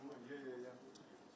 Ümumiyyətlə burda sənin özün.